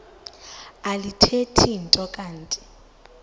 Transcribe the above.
alithethi nto kanti